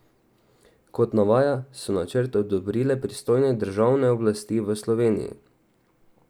Kot navaja, so načrt odobrile pristojne državne oblasti v Sloveniji.